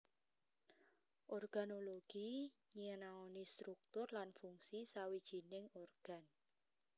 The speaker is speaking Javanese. Organologi nyinaoni struktur lan fungsi sawijining organ